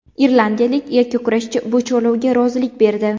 Irlandiyalik yakkakurashchi bu chorlovga rozilik berdi.